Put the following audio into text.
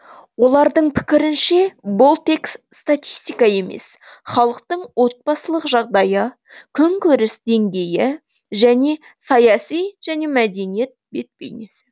олардың пікірінше бұл тек статистика емес халықтың отбасылық жағдайы күнкөріс деңгейі және саяси және мәдениет бет бейнесі